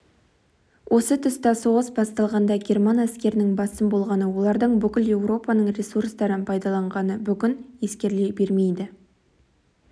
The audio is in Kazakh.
осы тұста соғыс басталғанда герман әскерінің басым болғаны олардың бүкіл еуропаның ресурстарын пайдаланғаны бүгін ескеріле бермейді